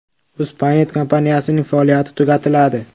UzPaynet kompaniyasining faoliyati tugatiladi.